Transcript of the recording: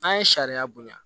N'an ye sariya bonya